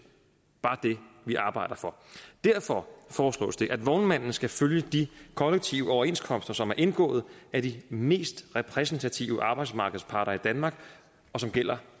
bare det vi arbejder for derfor foreslås det at vognmanden skal følge de kollektive overenskomster som er indgået af de mest repræsentative arbejdsmarkedsparter i danmark og som gælder